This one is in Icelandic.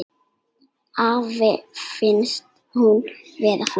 Afa fannst hún vera fín.